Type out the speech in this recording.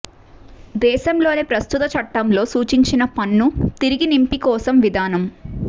దేశంలోని ప్రస్తుత చట్టం లో సూచించిన పన్ను తిరిగి నింపి కోసం విధానం